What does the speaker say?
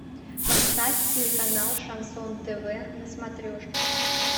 поставь телеканал шансон тв на смотрешке